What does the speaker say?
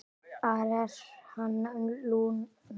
Hvar er hann, Lúna?